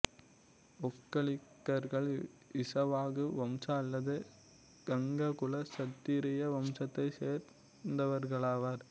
ஒக்கலிகர்கள் இசவாகு வம்ச அல்லது கங்க குல சத்திரிய வம்சத்தை சேர்ந்தவர்களாவர்